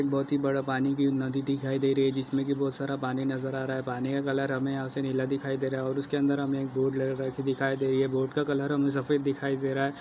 बहुत ही बड़ा पानी की नदी दिखाई दे रही है जिसमे की बहुत सारा पानी नजर आ रहा है पानी का कलर हमे यहाँ से नीला दिखाई दे रहा है और उसके अंदर हमे एक बोट दिखाई दे रही है बोट का कलर हमे सफ़ेद दिखाई दे रहा है।